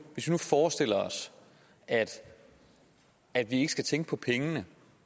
forestiller os at vi ikke skal tænke på pengene